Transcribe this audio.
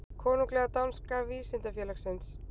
Konunglega danska vísindafélagsins.